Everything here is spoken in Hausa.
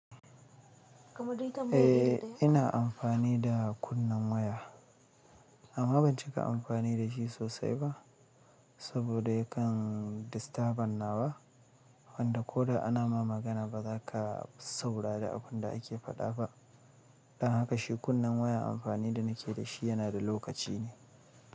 Eh, ina amfani da kunnen waya amma ban cika amfani da shi sosai ba. Saboda yakan disturban nawa. Wanda ko da ana ma magana ba za ka saurari abun da ake faɗa ba. Don haka shi kunnen waya amfani da nake da shi yana da lokaci ne.